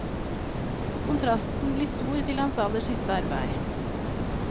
Kontrasten blir stor til hans aller siste arbeid.